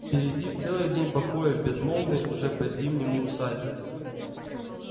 впереди целый день покоя в безмолвной уже по-зимнему усадьбе